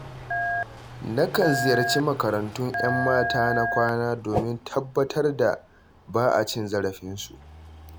Nakan ziyarci makarantun ‘yan mata na kwana, domin tabbatar da ba a cin zarafinsu.